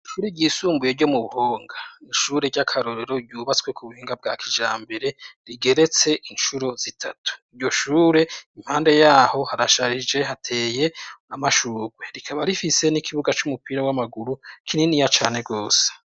Kuri ryisumbuye ryo mu buhonga ishure ry'akarorero ryubatswe ku buhinga bwa kija mbere rigeretse incuro zitatu iryo shure impande yaho harasharije hateye amashurwe rikaba rifise n'ikibuga c'umupira w'amaguru kinini ya cane rwose.